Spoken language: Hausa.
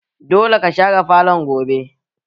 Dole ka share falon gobe!